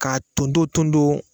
K'a ton ton ton ton!